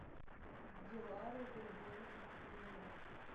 дилару григорьевну фомину